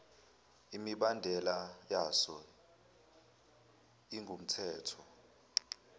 imibandela yaso ingumthetho